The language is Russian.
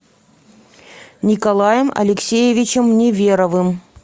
николаем алексеевичем неверовым